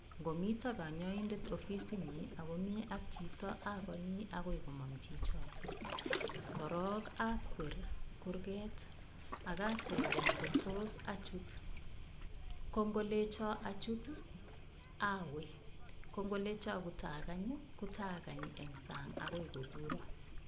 Ngomito kanyoindet ofisinyi akomi ak chito akonyi akoi komong' chichoto korok akwer kurket akatebe ngotos achut kongolecho achut awe kongolecho kutakany kutakany eng' sang' akoi kokuro